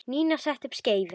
Nína setti upp skeifu.